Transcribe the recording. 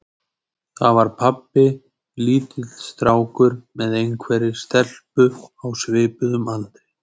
Þar var pabbi lítill strákur með einhverri stelpu á svipuðum aldri.